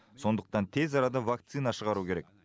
сондықтан тез арада вакцина шығару керек